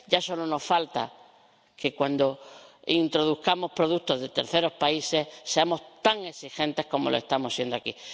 Ya solo nos falta que, cuando introduzcamos productos de terceros países, seamos tan exigentes como lo estamos siendo aquí.